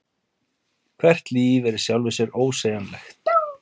Hvert líf er í sjálfu sér ósegjanlegt.